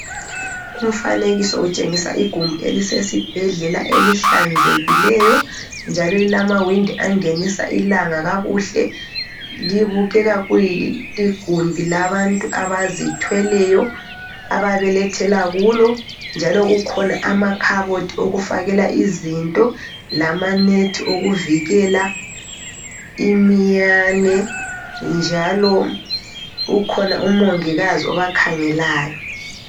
Umfanekiso utshengisa igumbi elisesibhedlela elihlanzekileyo njalo elilamawindi angenisa ilanga kakuhle. Libukeka liligumbi labantu abazithweleyo ababelethela kulo, njalo kukhona amakhabothi okufakela izinto lamanethi okuvikela iminyane njalo ukhona UMongikazi obakhangelayo.